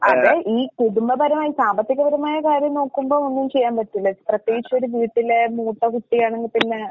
അത് ഈ കുടുംബപരമായി സാമ്പത്തികപരമായ കാര്യം നോക്കുമ്പോ ഒന്നും ചെയ്യാൻ പറ്റില്ല. പ്രത്യേകിച്ചൊരു വീട്ടിലെ മൂത്തകുട്ടിയാണെങ്കി പിന്നെ